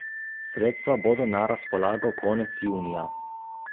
Sredstva bodo na razpolago konec junija.